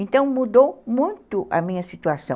Então mudou muito a minha situação.